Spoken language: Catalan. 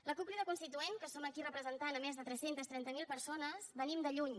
la cup crida constituent que som aquí representant més de tres cents i trenta miler persones venim de lluny